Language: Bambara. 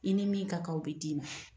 I ni min ka kan o bi di' ma.